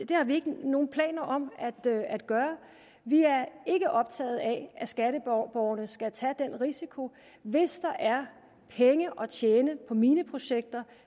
det har vi ikke nogen planer om at gøre vi er ikke optaget af at skatteborgerne skal tage den risiko hvis der er penge at tjene på mineprojekter